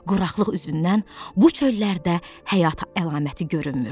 Quraqlıq üzündən bu çöllərdə həyat əlaməti görünmürdü.